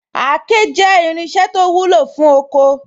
Àáké jẹ́ irinṣẹ́ to wúlò ní oko